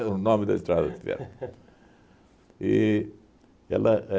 Era o nome da Estrada de Ferro. E ela